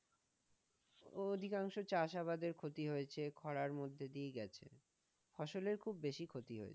অধিকাংশ চাষাবাদের ক্ষতি হয়েছে খরার মধ্যে দিয়েই গেছে, ফসলের খুব বেশি ক্ষতি হয়েছে।